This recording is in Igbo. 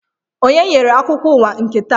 Onye nyere akụkọ ụwa nke taa?